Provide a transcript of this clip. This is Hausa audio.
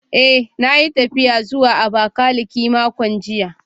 Eh, na yi tafiya zuwa Abakiliki makon jiya